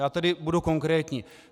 Já tedy budu konkrétní.